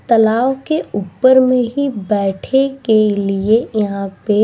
तालाब के ऊपर में ही बैठे के लिए ही यहाँ पे --